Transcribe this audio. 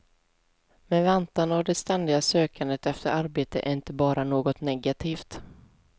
Men väntan och det ständiga sökandet efter arbete är inte bara något negativt.